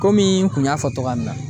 Komi n kun y'a fɔ togoya min na.